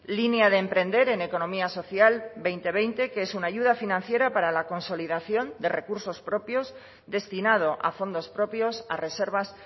línea de emprender en economía social dos mil veinte que es una ayuda financiera para la consolidación de recursos propios destinado a fondos propios a reservas